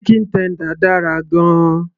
chicken tender dára gan -an